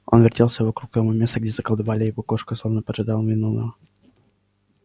он вертелся вокруг того места где заколдовали его кошку словно поджидал виновного